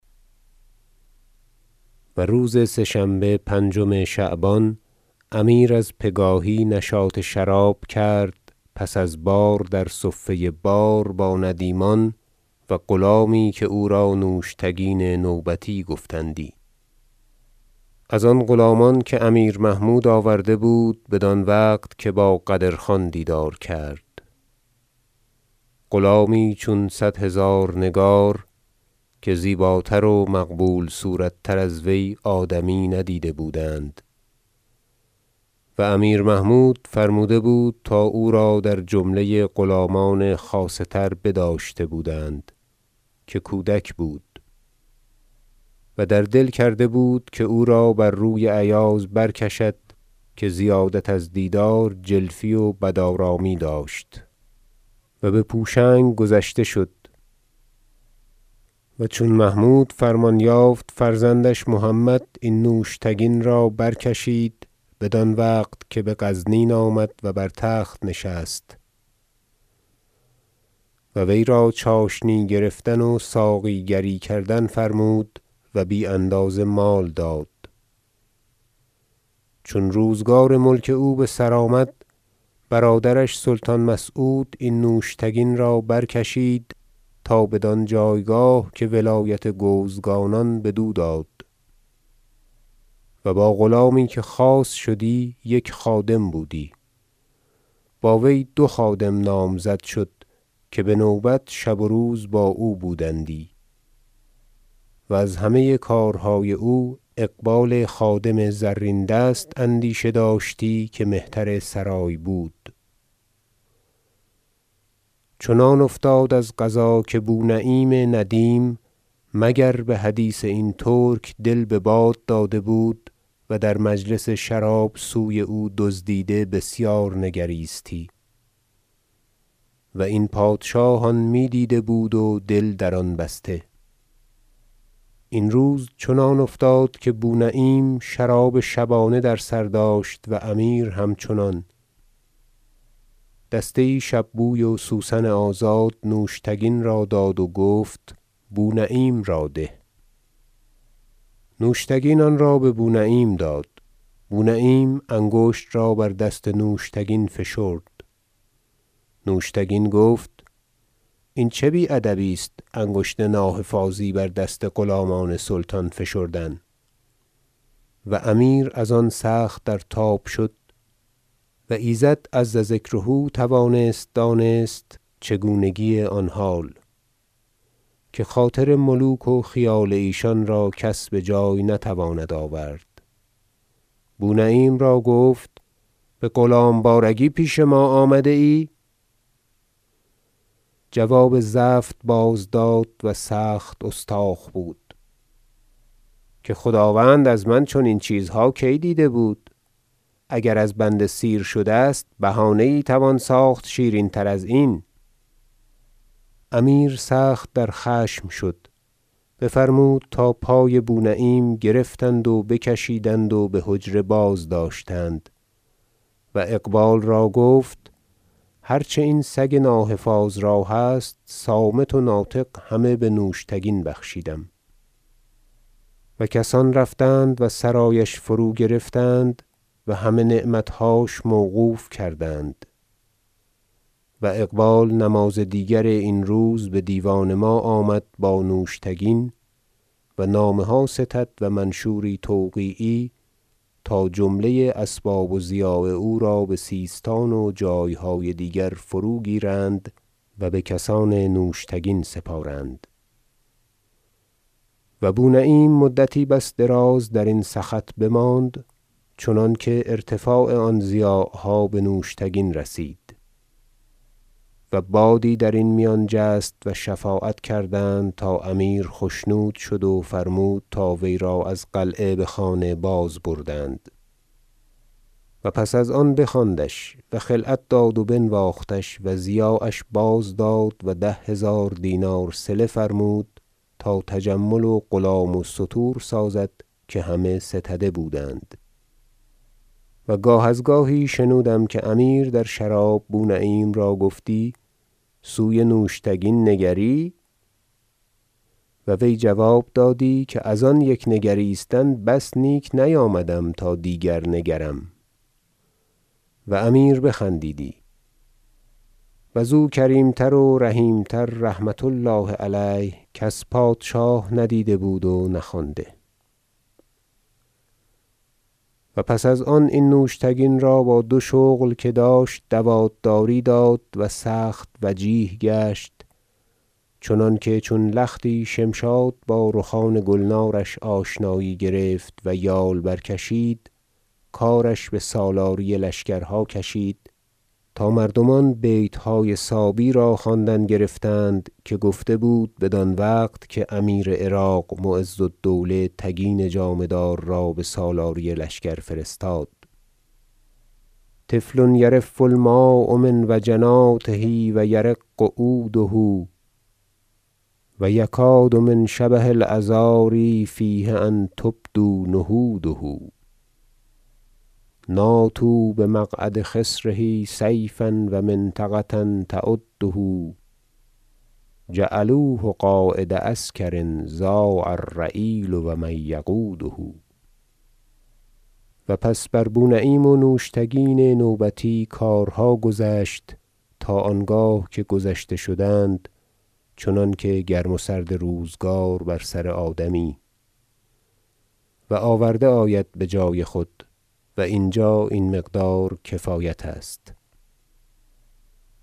شرح حال نوشتگن و روز سه شنبه پنجم شعبان امیر از پگاهی نشاط شراب کرد پس از بار در صفه بار با ندیمان و غلامی که او را نوشتگین نوبتی گفتندی از آن غلامان که امیر محمود آورده بود بدان وقت که با قدرخان دیدار کرد- غلامی چون صد هزار نگار که زیباتر و مقبول صورت تر از وی آدمی ندیده بودند و امیر محمود فرموده بود تا او را در جمله غلامان خاصه تر بداشته بودند که کودک بود و در دل کرده که او را بر روی ایاز برکشد که زیادت از دیدار جلفی و بدارامی داشت- و بپوشنگ گذشته شد - و چون محمود فرمان یافت فرزندش محمد این نوشتگین را برکشید بدان وقت که بغزنین آمد و بر تخت نشست و وی را چاشنی گرفتن و ساقی گری کردن فرمود و بی اندازه مال داد چون روزگار ملک او را بسر آمد برادرش سلطان مسعود این نوشتگین را برکشید تا بدان جایگاه که ولایت گوزگانان بدو داد و با غلامی که خاص شدی یک خادم بودی و با وی دو خادم نامزد شد که بنوبت شب و روز با او بودندی وز همه کارهای او اقبال خادم زرین دست اندیشه داشتی که مهترسرای بود- چنان افتاد از قضا که بونعیم ندیم مگر بحدیث این ترک دل بباد داده بود و در مجلس شراب سوی او دزدیده بسیار نگریستی و این پادشاه آن میدیده بود و دل در آن بسته این روز چنان افتاد که بونعیم شراب شبانه در سر داشت و امیر همچنان دسته یی شب بوی و سوسن آزاد نوشتگین را داد و گفت بونعیم را ده نوشتگین آنرا ببونعیم داد بونعیم انگشت را بر دست نوشتگین فشرد نوشتگین گفت این چه بی ادبی است انگشت ناحفاظی بر دست غلامان سلطان فشردن و امیر از آن سخت در تاب شد- و ایزد عز ذکره توانست دانست چگونگی آن حال که خاطر ملوک و خیال ایشان را کس بجای نتواند آورد- بونعیم را گفت بغلام- بارگی پیش ما آمده ای جواب زفت بازداد- و سخت استاخ بود- که خداوند از من چنین چیزها کی دیده بود اگر از بنده سیر شده است بهانه یی توان ساخت شیرین تر ازین امیر سخت در خشم شد بفرمود تا پای بونعیم گرفتند و بکشیدند و بحجره بازداشتند و اقبال را گفت هر چه این سگ ناحفاظ را هست صامت و ناطق همه بنوشتگین بخشیدم و کسان رفتند و سرایش فروگرفتند و همه نعمتهاش موقوف کردند و اقبال نماز دیگر این روز بدیوان ما آمد با نوشتگین و نامه ها ستد و منشوری توقیعی تا جمله اسباب و ضیاع او را بسیستان و جایهای دیگر فروگیرند و بکسان نوشتگین سپارند و بونعیم مدتی بس دراز درین سخط بماند چنانکه ارتفاع آن ضیاعها بنوشتگین رسید و بادی در آن میان جست و شفاعت کردند تا امیر خشنود شد و فرمود تا وی را از قلعه بخانه بازبردند و پس از آن بخواندش و خلعت داد و بنواختش و ضیاعش بازداد و ده هزار دینار صله فرمود تا تجمل و غلام و ستور سازد که همه ستده بودند و گاه از گاهی شنودم که امیر در شراب بونعیم را گفتی سوی نوشتگین نگری و وی جواب دادی که از آن یک نگریستن بس نیک نیامدم تا دیگر نگرم و امیر بخندیدی و زو کریمتر و رحیم تر رحمة الله علیه کس پادشاه ندیده بود و نخوانده و پس از آن این نوشتگین را با دو شغل که داشت دوات داری داد و سخت وجیه گشت چنانکه چون لختی شمشاد بار خان گلنارش آشنایی گرفت و یال برکشید کارش بسالاری لشکرها کشید تا مردمان بیتهای صابی را خواندن گرفتند که گفته بود بدان وقت که امیر عراق معز الدوله تگین جامه دار را بسالاری لشکر فرستاد و الأبیات طفل یرف الماء من وجناته و یرق عوده و یکاد من شبه العذاری فیه أن تبدو نهوده ناطوا بمقعد خصره سیفا و منطقة تؤده جعلوه قاید عسکر ضاع الرعیل و من یقوده و پس بر بونعیم و نوشتگین نوبتی کارها گذشت تا آنگاه که گذشته شدند چنانکه گرم و سرد روزگار بر سر آدمی و آورده آید بجای خود و اینجا این مقدار کفایت است